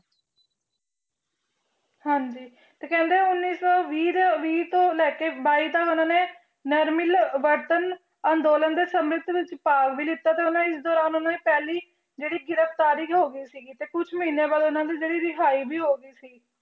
ਹਾਂਜੀ ਤੇ ਕਹਿੰਦੇ ਉੱਨੀ ਸੌ ਵੀਹ ਦੇ ਵੀਹ ਤੋਂ ਲੈ ਕੇ ਬਾਈ ਤੱਕ ਉਹਨਾਂ ਨੇ ਨਾ ਮਿਲਵਰਤਨ ਅੰਦੋਲਨ ਦੇ ਸਮਿਤ ਵਿੱਚ ਭਾਗ ਵੀ ਲਿਤਾ ਤੇ ਇਸ ਦੌਰਾਨ ਉਹਨਾਂ ਦੀ ਪਹਿਲੀ ਜਿਹੜੀ ਗ੍ਰਿਫ਼ਤਾਰੀ ਵੀ ਹੋ ਗਈ ਸੀਗੀ ਤੇ ਕੁਛ ਮਹੀਨੇ ਬਾਅਦ ਇਹਨਾਂ ਦੀ ਜਿਹੜੀ ਰਿਹਾਈ ਵੀ ਹੋ ਗਈ ਸੀ।